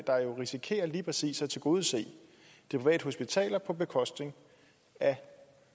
risikerer lige præcis at tilgodese de private hospitaler på bekostning af